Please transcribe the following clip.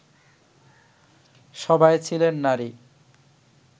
সবাই ছিলেন নারী